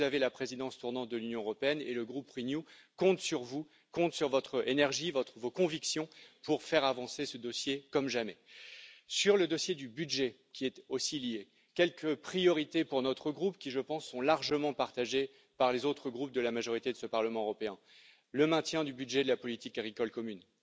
Vous avez la présidence tournante de l'Union européenne et le groupe Renew compte sur vous, sur votre énergie et sur vos convictions pour faire avancer ce dossier comme jamais. En ce qui concerne le dossier du budget, qui y est aussi lié, je citerai quelques priorités de notre groupe qui, je pense, sont largement partagées par les autres groupes de la majorité de ce Parlement européen le maintien du budget de la politique agricole commune,